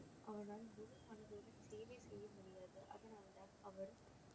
அவனால் முழு மனதுடன் சேவை செய்ய முடியாது அதனால் தான் அவர்